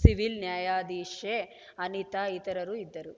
civil ನ್ಯಾಯಾಧೀಶೆ ಅನಿತಾ ಇತರರು ಇದ್ದರು